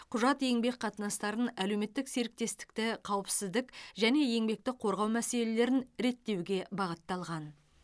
құжат еңбек қатынастарын әлеуметтік серіктестікті қауіпсіздік және еңбекті қорғау мәселелерін реттеуге бағытталған